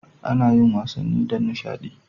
Ana yin wasanni don nishadi.